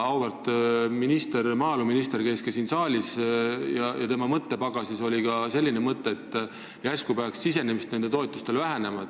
Auväärt maaeluminister käis siin saalis ja tema mõttepagasis oli ka selline mõte, et järsku peaks sisenemist sellesse sektorisse vähendama.